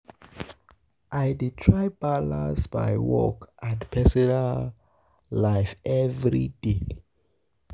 I dey try um balance um my work and personal personal life every day.